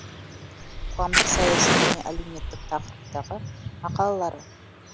қоғамдық саяси және әлеуметтік тақырыптағы мақалалары